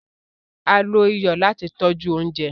Á ló iyọ lati tọ̀ju ọ̀unjẹ